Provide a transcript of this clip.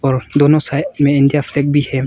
और दोनों साइड में इंडिया फ्लैग भी है।